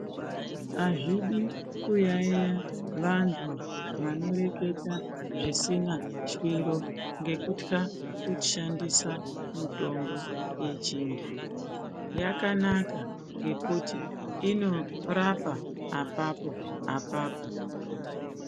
Azvidi kuyayeya vanthu vanoreketa zvisina shwiro ngekutya kushandisa mitombo yechinthu yakanaka ngekuti inorapa apapo apapo.